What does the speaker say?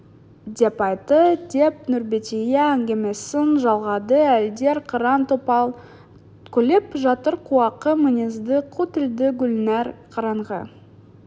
деп айтты деп нұрбәтия әңгімесін жалғады әйелдер қыран-топан күліп жатыр қуақы мінезді қу тілді гүлнәр қараңғы